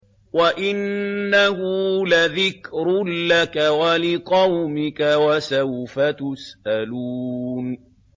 وَإِنَّهُ لَذِكْرٌ لَّكَ وَلِقَوْمِكَ ۖ وَسَوْفَ تُسْأَلُونَ